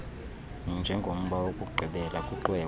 njengomba wokugqibela kwiqwewe